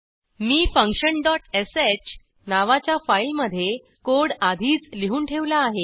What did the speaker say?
मी functionश नावाच्या फाईलमधे कोड आधीच लिहून ठेवला आहे